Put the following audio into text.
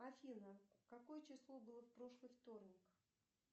афина какое число было в прошлый вторник